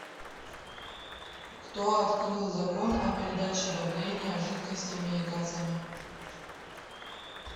кто открыл закон о передаче давления жидкостями и газами